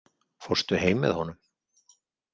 Fórstu heim með honum?